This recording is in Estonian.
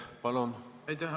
Aitäh!